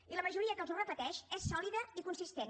i la majoria que els ho repeteix és sòlida i consistent